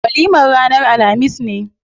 Walimar ranar alhamis ne.